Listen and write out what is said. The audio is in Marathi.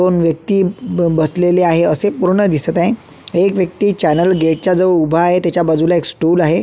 दोन व्यक्ती ब बसलेल्या आहे असे पूर्ण दिसत आहे एक व्यकती चॅनल गेट च्या जवळ उभा आहे त्याच्या बाजूला एक स्टूल आहे.